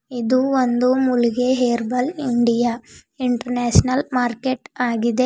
ಇದು ಒಂದು ಮುಳುಗೆ ಹೇರ್ಬಲ್ ಇಂಡಿಯಾ ಇಂಟರ್ನ್ಯಾಷಿನಲ್ ಮಾರ್ಕೆಟ್ ಆಗಿದೆ.